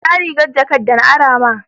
Inna rigar jakat de na ara ma?